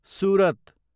Surat